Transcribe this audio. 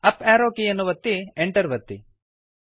up arrow ಕೀಯನ್ನು ಒತ್ತಿ Enter ಒತ್ತಿ